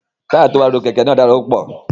Táyà tó wà lórí kẹ̀kẹ́ náà dára púpọ̀.